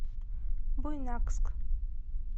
буйнакск